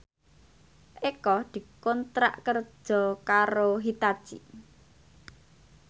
Eko dikontrak kerja karo Hitachi